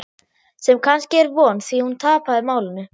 Sem kannski er von, því hún tapaði málinu.